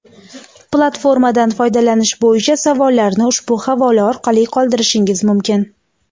Platformadan foydalanish bo‘yicha savollarni ushbu havola orqali qoldirishingiz mumkin.